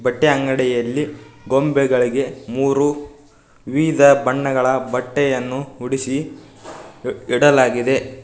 ಬಟ್ಟೆ ಅಂಗಡಿಯಲ್ಲಿ ಗೊಂಬೆಗಳಿಗೆ ಮೂರು ವಿವಿಧ ಬಣ್ಣಗಳ ಬಟ್ಟೆಯನ್ನು ಉಡಿಸಿ ಇ- ಇಡಲಾಗಿದೆ ಇವ್--